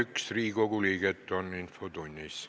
Kohaloleku kontroll Infotunnis on 31 Riigikogu liiget.